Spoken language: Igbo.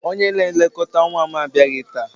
Onye na-elekọta nwa m abịaghị taa.